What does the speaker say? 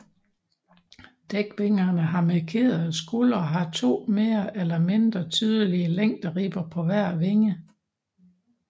Dækvingerne har markerede skuldre og har to mere eller mindre tydelige længderibber på hver vinge